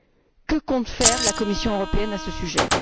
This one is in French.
Que compte faire la Commission européenne à ce sujet?